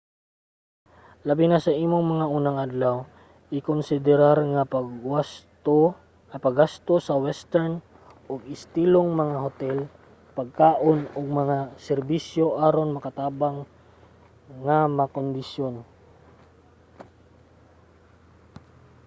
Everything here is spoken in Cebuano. labi na sa imong mga unang adlaw ikonsiderar ang paggasto sa western og estilong mga hotel pagkaon ug mga serbisyo aron makatabang nga makondisyon